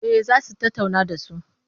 Eh za su tattauna da su.